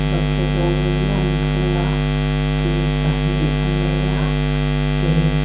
vaki rawngin an thlung a ki pahnih a nei a ke --